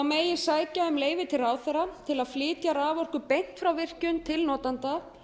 megi sækja um leyfi til ráðherra til að flytja raforku beint frá virkjun til notanda